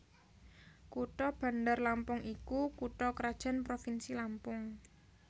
Kutha Bandar Lampung iku kutha krajan provinsi Lampung